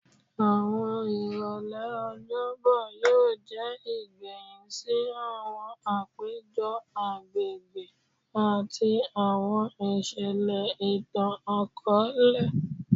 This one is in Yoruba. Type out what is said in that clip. Awọn irọlẹ Ọjọbọ yoo jẹ igbẹhin si awọn apejọ agbegbe ati awọn iṣẹlẹ itan-akọọlẹ